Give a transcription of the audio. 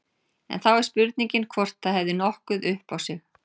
En þá er spurningin hvort það hefði nokkuð upp á sig.